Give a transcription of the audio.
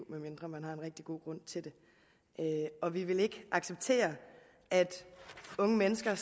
medmindre man har en rigtig god grund til det og vi vil ikke acceptere at unge mennesker